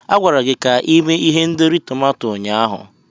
A gwara gị ka ime ihendori tomato ụnyaahụ.